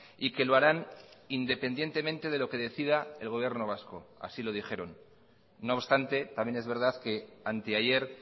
y que lo harán independientemente de lo que decida el gobierno vasco así lo dijeron no obstante también es verdad que anteayer